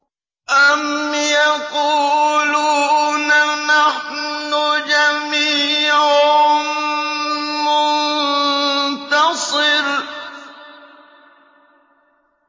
أَمْ يَقُولُونَ نَحْنُ جَمِيعٌ مُّنتَصِرٌ